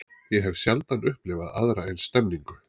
Ég hef sjaldan upplifað aðra eins stemningu.